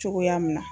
Cogoya min na